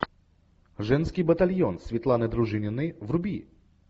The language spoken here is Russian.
женский батальон светланы дружининой вруби